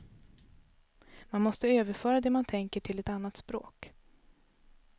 Man måste överföra det man tänker till ett annat språk.